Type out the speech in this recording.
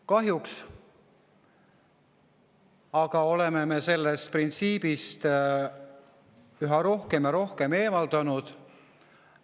Kahjuks aga oleme me sellest printsiibist üha rohkem ja rohkem eemaldunud.